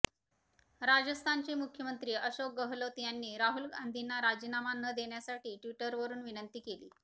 राजस्थानचे मुख्यमंत्री अशोक गहलोत यांनी राहुल गांधींना राजीनामा न देण्यासाठी ट्विटरवरून विनंती केली